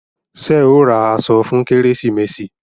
Ṣé ẹ ó ra aṣọ fún kérésìmesì?